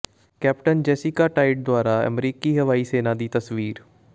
captain Jessica Tait ਦੁਆਰਾ ਅਮਰੀਕੀ ਹਵਾਈ ਸੈਨਾ ਦੀ ਤਸਵੀਰ